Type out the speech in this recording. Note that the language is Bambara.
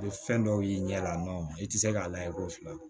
Ni fɛn dɔw y'i ɲɛ la i tɛ se k'a layɛ k'o fila don